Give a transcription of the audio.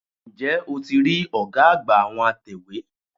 N jẹ́ o ti rí ọ̀gá àgbà àwọn atẹ̀wé?